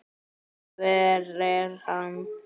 Hver er hann?